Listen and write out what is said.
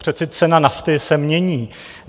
Přece cena nafty se mění.